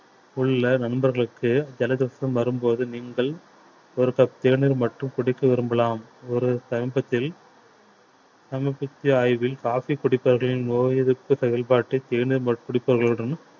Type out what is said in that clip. உள்ள நண்பர்களுக்கு ஜலதோஷம் வரும்போது நீங்கள் ஒரு cup தேநீர் மட்டும் குடிக்க விரும்பலாம் ஒரு சமீபத்தில் சமர்ப்பித்த ஆய்வில் coffee குடிப்பவர்களின் நோய் எதிர்ப்பு செயல்பாட்டை தேநீர் மற்றும் குடிப்பவர்களுடன்